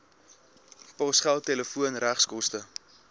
posgeld telefoon regskoste